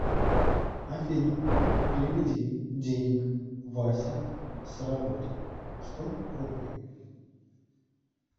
афина переведи денег вася с работы сто рублей